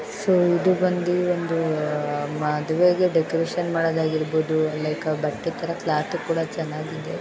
So ಇದು ಬಂದು ಒಂದು ಮದುವೆಗೆ ಡೆಕೋರೇಷನ್ ಮಾಡೋದು ಆಗಿರಬಹುದು ಲೈಕು ಬಟ್ಟೆ ತರ ಕ್ಲಾತು ಕೂಡ ಚೆನ್ನಾಗಿದೆ.